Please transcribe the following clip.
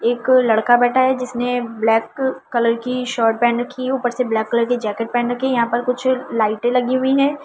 एक लड़का बैठा है जिसने ब्लैक कलर की शर्ट पहन रखी है ऊपर से ब्लैक कलर के जैकेट पहमन रखी है यहां पर कुछ लाइटें लगी हुई हैं।